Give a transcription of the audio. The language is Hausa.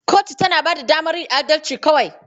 Kotu tana ba da damar yin adalci kawai.